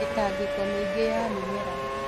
Mĩtangĩko mĩingĩ ya mĩmera